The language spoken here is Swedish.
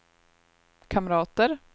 kamrater